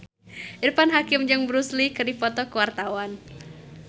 Irfan Hakim jeung Bruce Lee keur dipoto ku wartawan